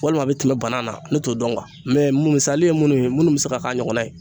Walima a bɛ tɛmɛ banan na ne t'o dɔn misali ye minnu ye minnu bɛ se ka k'a ɲɔgɔnna ye